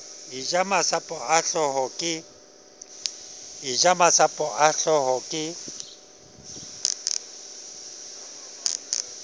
eja masapo a hlooho ke